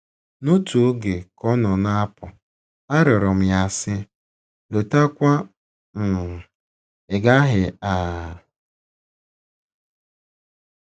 N’otu oge, ka ọ nọ na - apụ, arịọrọ m ya, sị, ‘ Lọtakwa um, ị̀ gaghị um? ’”